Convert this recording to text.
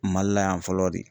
Mali la yan fɔlɔ de